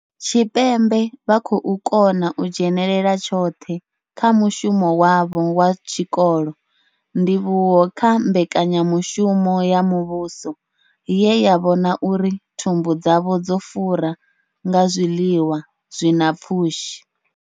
Tshipembe vha khou kona u dzhenela tshoṱhe kha mushumo wavho wa tshikolo, ndivhuwo kha mbekanya mushumo ya muvhuso ye ya vhona uri thumbu dzavho dzo fura nga zwiḽiwa zwi na pfushi.